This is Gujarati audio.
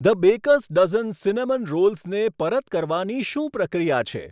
ધ બેકર્સ ડઝન સિનેમન રોલ્સને પરત કરવાની શું પ્રક્રિયા છે?